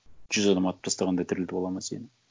жүз адам атып тастағанда тірілтіп алады ма сені